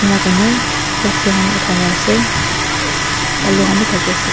ena korni lati kan otai kina ase balu kan bi taki ase.